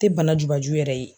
Tɛ bana jubaju yɛrɛ ye.